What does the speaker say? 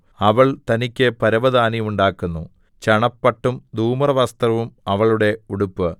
അവൾ തനിക്ക് പരവതാനി ഉണ്ടാക്കുന്നു ചണപട്ടും ധൂമ്രവസ്ത്രവും അവളുടെ ഉടുപ്പ്